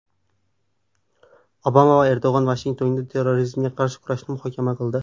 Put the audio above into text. Obama va Erdo‘g‘on Vashingtonda terrorizmga qarshi kurashni muhokama qildi.